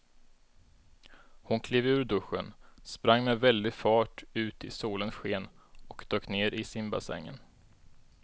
Hon klev ur duschen, sprang med väldig fart ut i solens sken och dök ner i simbassängen.